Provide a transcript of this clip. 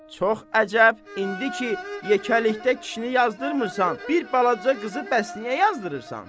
Çox əcəb, indi ki yekəlikdə kişini yazdırmırsan, bir balaca qızı bəs niyə yazdırırsan?